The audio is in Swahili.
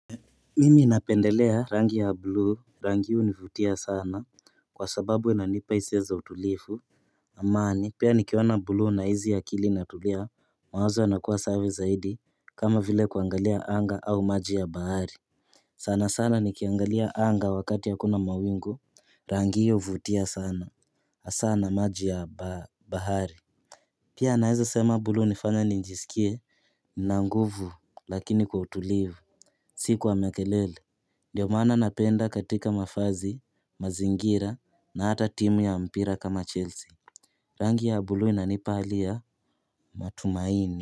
Mimi napendelea rangi ya buluu rangi hunivutia sana kwa sababu inanipa hisia za utulivu amani Pia nikiona buluu nahisi akili inatulia mawazo wanakuwa sawa zaidi kama vile kuangalia anga au maji ya bahari sana sana nikiangalia anga wakati hakuna mawingu rangi hii huvutia sana hasa na maji ya bahari Pia naeza sema buluu hunifanya nijisikie, na nguvu lakini kwa utulivu, sikuwa mekelele. Ndiyo maana napenda katika mavazi, mazingira na hata timu ya mpira kama Chelsea. Rangi ya buluu inanipa hali ya matumaini.